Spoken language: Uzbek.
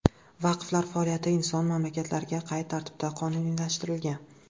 Vaqflar faoliyati jahon mamlakatlarida qay tartibda qonuniylashtirilgan?